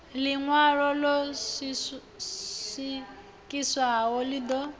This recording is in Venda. ḽiṋwalo ḽo swikiswaho ḽi ḓo